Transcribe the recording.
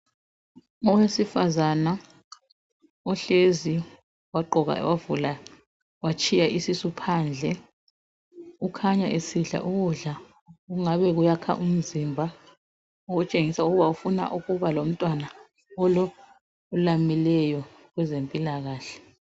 Owesifazana ohlezi wagqoka wavula watshiya isisu phandle ukhanya esidla ukudla okwakha umzimba okutshengisela ukuthi ufuna ukuba lomntwana olamileyo kwezempilakahle.